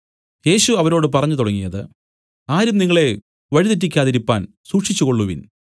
യേശു അവരോട് പറഞ്ഞു തുടങ്ങിയത് ആരും നിങ്ങളെ വഴി തെറ്റിക്കാതിരിപ്പാൻ സൂക്ഷിച്ചുകൊള്ളുവിൻ